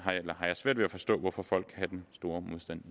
svært ved at forstå hvorfor folk kan have den store modstand